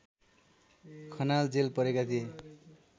Khanal jail परेका थिए